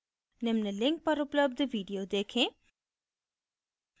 निम्न link पर उपलब्ध video देखें